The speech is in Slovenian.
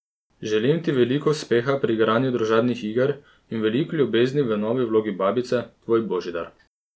Želim ti veliko uspeha pri igranju družabnih iger in veliko ljubezni v novi vlogi babice, tvoj Božidar!